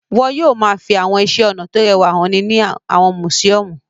Wọn yóò máa fi àwọn iṣẹ́-ọnà tó rẹwà hàn ní àwọn mùsíọ́mù.